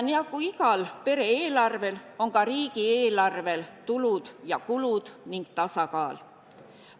Nii nagu igal pere eelarvel, on ka riigieelarvel tulud ja kulud ning tasakaal.